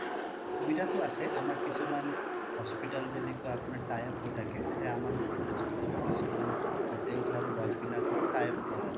সুবিধা টো আছে আমাৰ কিছুমান hospital টো tie up হৈ থাকে তেতিয়া আমাৰ hospital ৰ কিছুমান hotels আৰু lodge বিলাকৰয়ো tie up কৰা আছে